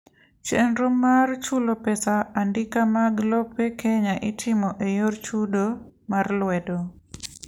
chenro mar chulo pesa andika mag lope Kenya itimo eyor chudo mar lwedo